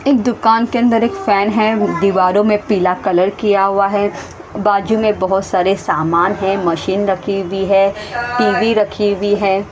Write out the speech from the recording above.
एक दुकान के अंदर एक फैन है दीवारों में पीला कलर किया हुआ है बाजू में बहोत सारे सामान है मशीन रखी हुई है टी_वी रखी हुई है।